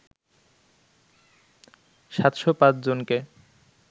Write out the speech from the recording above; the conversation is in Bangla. ৭০৫ জনকে